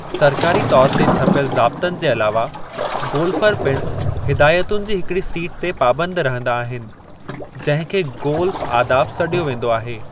सरकारी तौर ते छपियल ज़ाब्तनि जे अलावा, गोल्फ़र पिणु हिदायतुनि जी हिकिड़ी सीट ते पाबंद रहंदा आहिनि जंहिं खे गोल्फ़ आदाब सॾियो वेंदो आहे।